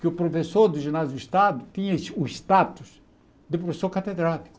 que o professor do ginásio do Estado tinha esse o status de professor catedrático.